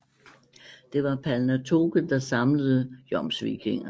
Det var Palnatoke der samlede jomsvikingerne